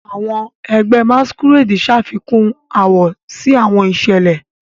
Awọn ẹgbẹ Masquerade ṣafikun awọ si awọn iṣẹlẹ.